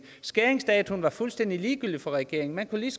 skæringsdatoen var fuldstændig ligegyldig for regeringen man kunne lige